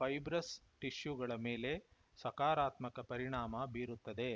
fibrous ಟಿಷ್ಯುಗಳ ಮೇಲೆ ಸಕಾರಾತ್ಮಕ ಪರಿಣಾಮ ಬೀರುತ್ತದೆ